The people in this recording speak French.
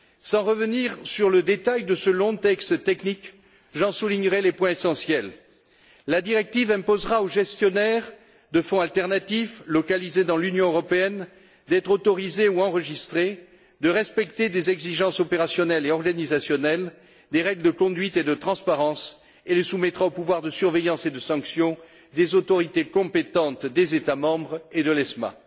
Sans revenir sur le détail de ce long texte technique, j'en soulignerai les points essentiels la directive imposera aux gestionnaires de fonds alternatifs, localisés dans l'Union européenne d'être autorisés ou enregistrés, de respecter des exigences opérationnelles et organisationnelles, des règles de conduite et de transparence et les soumettra au pouvoir de surveillance et de sanction des autorités compétentes des États membres et de l'ESMA.